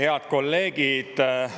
Head kolleegid!